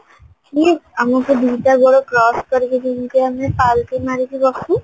ସେ ଆମକୁ ଦିଟା ବେଳେ crush କରିକି ଜିମିତି ଆମେ ମାରିକି ବସୁ